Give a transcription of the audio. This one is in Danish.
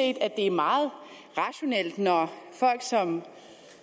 at det er meget rationelt når folk som